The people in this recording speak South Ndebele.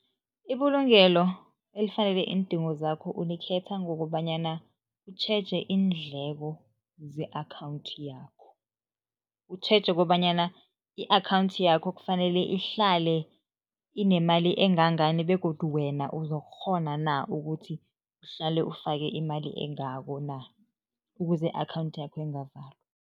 Ibulungelo elifanele iindingo zakho ulikhetha ngokobanyana utjheje iindleko ze-akhawundi yakho. Utjheje kobanyana i-akhawundi yakho kufanele ihlale inemali engangani begodu wena uzokukghona na ukuthi uhlale ufake imali engako na, ukuze i-akhawundi yakho ingavalwa.